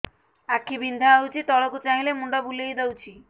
ଆଖି ବିନ୍ଧା ହଉଚି ତଳକୁ ଚାହିଁଲେ ମୁଣ୍ଡ ବୁଲେଇ ଦଉଛି